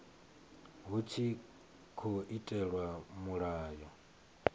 hu tshi tkhou itelwa mulayo